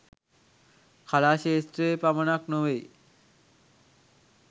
කලා ක්ෂේත්‍රයේ පමණක් නොවෙයි